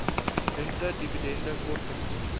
rente dividende kortings